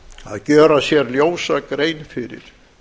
að gjöra sér ljósa grein fyrir